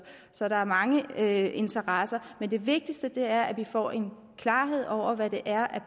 så der er mange interesser men det vigtigste er at vi får en klarhed over hvad det er